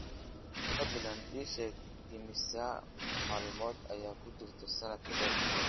fadlan ii sheeg imisa maalmood ayaa ku jira sanad dheer